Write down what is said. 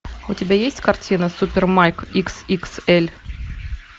у тебя есть картина супер майк икс икс эль